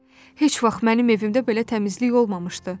Heç vaxt mənim evimdə belə təmizlik olmamışdı.